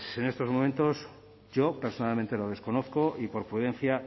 pues en estos momentos yo personalmente lo desconozco y por prudencia